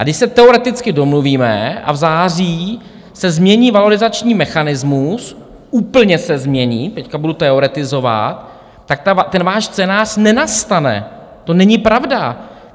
A když se teoreticky domluvíme a v září se změní valorizační mechanismus, úplně se změní, teď budu teoretizovat, tak ten váš scénář nenastane, to není pravda.